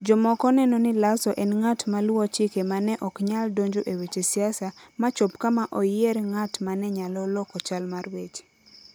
Jomoko neno ni Lasso en ng'at maluwo chike ma ne ok nyal donjo e weche siasa ma chop kama oyier ng'at ma ne nyalo loko chal mar weche.